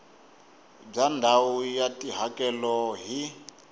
bya ndhawu ya tihakelo hi